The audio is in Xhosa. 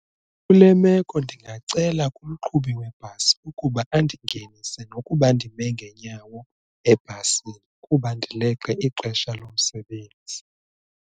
Kule meko ndingacela kumqhubi webhasi ukuba andingenise nokuba ndime ngeenyawo ebhasini kuba ndileqe ixesha lomsebenzi.